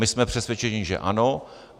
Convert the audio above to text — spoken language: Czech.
My jsme přesvědčeni, že ano.